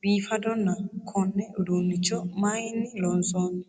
biifadohonna konne uduunicho mayinni loonsanni?